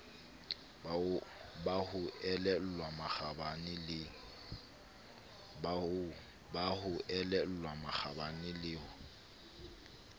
ba ho elellwa makgabane le